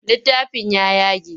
Littafin ya yage.